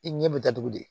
I ɲɛ bɛ datugu de